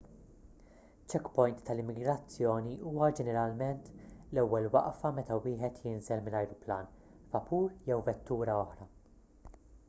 checkpoint tal-immigrazzjoni huwa ġeneralment l-ewwel waqfa meta wieħed jinżel minn ajruplan vapur jew vettura oħra